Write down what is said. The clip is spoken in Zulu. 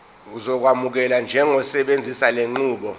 uzokwamukelwa njengosebenzisa lenqubo